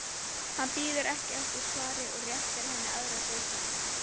Hann bíður ekki eftir svari og réttir henni aðra dósina.